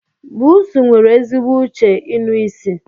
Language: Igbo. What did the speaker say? Pusi nwere ezigbo uche inụ isi.